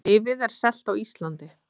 Lyfið er selt á Íslandi